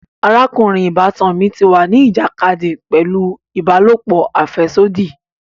Arakunrin ìbátan mí tí wá ni ìjàkadì pẹlu ìbálòpọ̀ afẹsodi